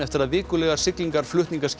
eftir að vikulegar siglingar